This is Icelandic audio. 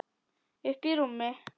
Uppí rúmi.